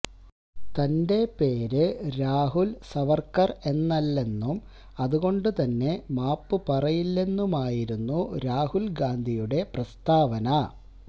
തന്റെ പേര് രാഹുല് സവര്ക്കര് എന്നല്ലെന്നും അതുകൊണ്ടുതന്നെ മാപ്പ് പറയില്ലെന്നുമായിരുന്നു രാഹുല് ഗാന്ധിയുടെ പ്രസ്താവന